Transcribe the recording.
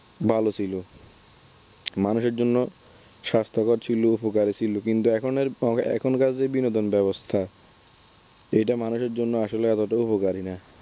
ভালো ছিল। মানুষের জন্য স্বাস্থ্যকর ছিল উপকার ছিল। কিন্তু এখনের এখনকার যে বিনোদন ব্যবস্থা এটা মানুষের জন্য আসলে অতটা উপকারী না।